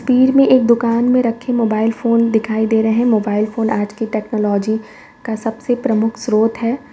पीर मे एक दुकान मे रखे मोबाइल फोन दिखाई दे रहे हैं। मोबाइल फोन आज की टेक्नॉलजी का सबसे प्रमुख स्त्रोत है।